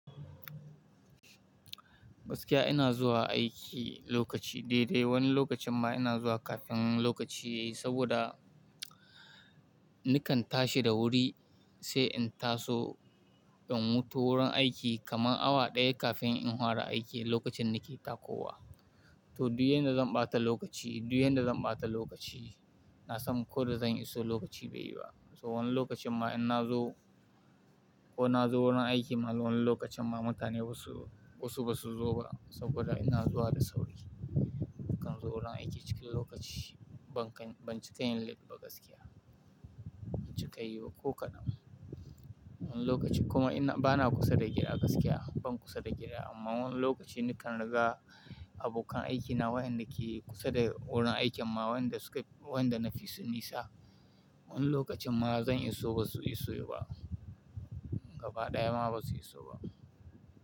Gaskiya ina zuwa aiki lokaci dai dai, wani lokacin ma ina zuwa kafin lokaci yayi saboda nakan tashi da wuri sai in taso in futo wurin aiki kamar awa ɗaya kafin in fara aiki lokacin da ne takowa. To, duk yanda zan ɓata lokaci, dul yanda zan ɓata lokaci na sam ko da zan iso lokaci bai yi ba. So wani lokacin ma in na zo ko na zo wurin aiki ma wani lokacin ma mutane basu, wasu ba su zo ba saboda ina zuwa da sauri. Nakan zo wurin aiki cikin lokaci, ban ci kayin late ba gaskiya, ban ci kayi ba ko kadan. Wani lokacin kuma ina bana kusa da gida gaskiya, ban kusa da gida amma wani lokaci nakan riga abokan aikina wayanda ke kusa da wurin aikin ma wayanda suka, wayanda na fi su nisa. Wani lokacin ma zan iso ba su iso ba, gaba ɗaya ma ba su iso ba.